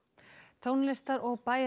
tónlistar og